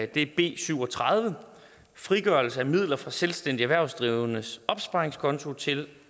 det er b syv og tredive om frigørelse af midler fra selvstændige erhvervsdrivendes opsparingskonti til